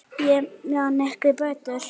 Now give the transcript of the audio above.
Ég man ekki betur.